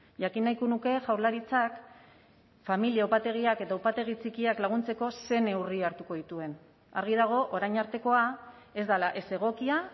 jakin nahiko nuke jaurlaritzak familia upategiak eta upategi txikiak laguntzeko ze neurri hartuko dituen argi dago orain artekoa ez dela ez egokia